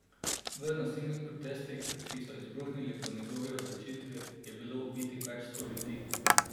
V nasilnih protestih, ki so izbruhnili po njegovi odločitvi, je bilo ubitih več sto ljudi.